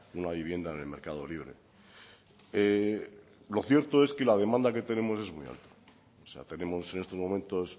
una vivienda en el mercado libre lo cierto es que la demanda que tenemos es muy alta tenemos en estos momentos